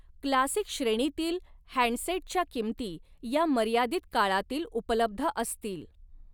Classic श्रेणीतील हॅंडसेटच्या किमती या मर्यादित काळातील उपलब्ध असतील.